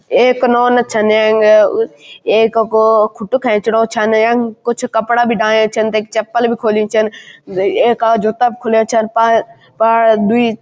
एक नौना छन ऐककू खुटु खैचणु छन यंग कुछ कपड़ा बिडायन छन तक्खी चप्पल भी खोली छन एक आद जुत्ता भी खुल्या छन पा पा दुई --